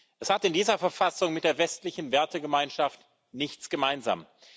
Es hat in dieser Verfassung mit der westlichen Wertegemeinschaft nichts gemeinsam.